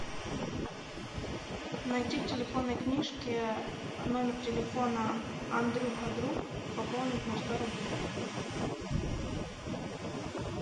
найти в телефонной книжке номер телефона андрюха друг пополнить на сто рублей